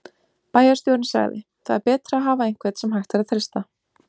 Bæjarstjórinn sagði: Það er betra að hafa einhvern sem hægt að treysta.